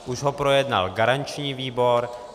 Už ho projednal garanční výbor.